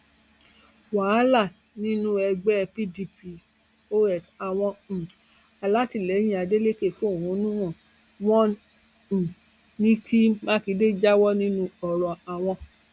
wàhálà nínú ẹgbẹ pdp ọs àwọn um alátìlẹyìn adélèkè fẹhónú hàn wọn um ní kí mákindé jáwọ nínú ọrọ àwọn